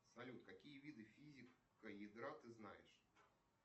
салют какие виды физика ядра ты знаешь